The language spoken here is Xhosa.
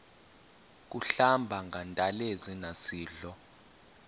kuhlamba ngantelezi nasidlo